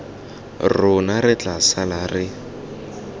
rona re tla sala re